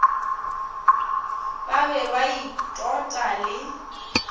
ba be ba itota le